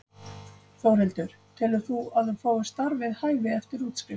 Þórhildur: Telur þú að þú fáir starf við hæfi eftir útskrift?